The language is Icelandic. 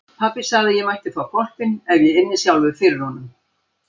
Pabbi sagði að ég mætti fá hvolpinn ef ég ynni sjálfur fyrir honum.